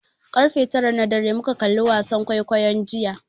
Ƙarfe tara na dare muka kalli wasan kwaikwayon jiya.